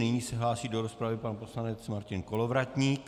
Nyní se hlásí do rozpravy pan poslanec Martin Kolovratník.